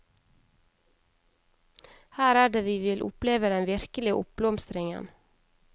Her er det vi vil oppleve den virkelige oppblomstringen.